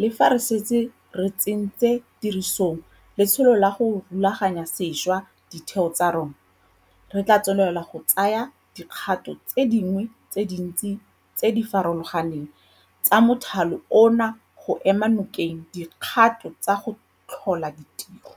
le fa re setse re tsentse tirisong letsholo la go rulaganya sešwa ditheo tsa rona, re tla tswelela go tsaya dikgato tse dingwe tse dintsi tse di farologaneng tsa mothale ono go ema nokeng dikgato tsa go tlhola ditiro.